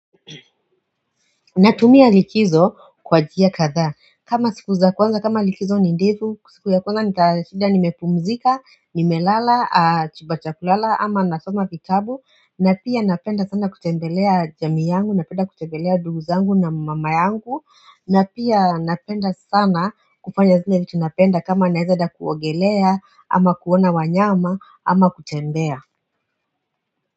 Natumia likizo kwa njia kadhaa kama siku za kwanza kama likizo ni ndefu siku ya kwanza nitashinda nimepumzika nimelala chumba cha kulala ama nasoma vitabu na pia napenda sana kutembelea jamii yangu napenda kutembelea ndugu zangu na mama yangu na pia napenda sana kufanya zile vitu napenda kama naweza enda kuogelea ama kuona wanyama ama kutembea.